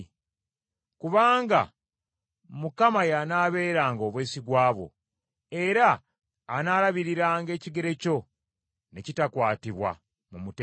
Kubanga Mukama y’anaabeeranga obwesigwa bwo, era anaalabiriranga ekigere kyo ne kitakwatibwa mu mutego.